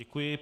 Děkuji.